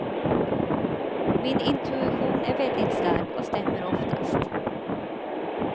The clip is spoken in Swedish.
Min intuition är väldigt stark och stämmer oftast.